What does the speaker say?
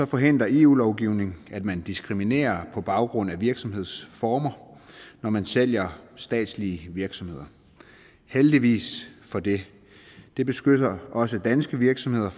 forhindrer eu lovgivning at man diskriminerer på baggrund af virksomhedsformer når man sælger statslige virksomheder heldigvis for det det beskytter også danske virksomheder